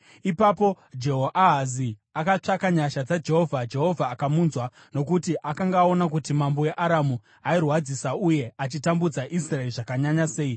Ipapo Jehoahazi akatsvaka nyasha dzaJehovha, Jehovha akamunzwa, nokuti akanga aona kuti mambo weAramu airwadzisa uye achitambudza Israeri zvakanyanya sei.